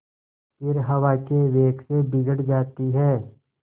फिर हवा के वेग से बिगड़ जाती हैं